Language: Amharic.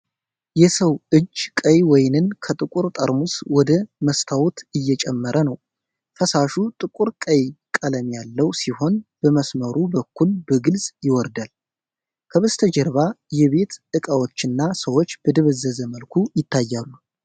የሰው እጅ ቀይ ወይንን ከጥቁር ጠርሙስ ወደ መስታወት እየጨመረ ነው። ፈሳሹ ጥቁር ቀይ ቀለም ያለው ሲሆን በመስመሩ በኩል በግልጽ ይወርዳል። ከበስተጀርባ የቤት ዕቃዎችና ሰዎች በደበዘዘ መልኩ ይታያሉ።